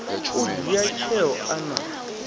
u dzhia tsheo a na